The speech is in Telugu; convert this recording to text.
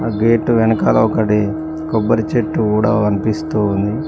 ఆ గేటు వెనకాల ఒకటి కొబ్బరి చెట్టు కూడా కన్పిస్తూ ఉంది.